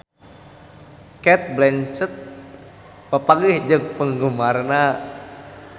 Cate Blanchett papanggih jeung penggemarna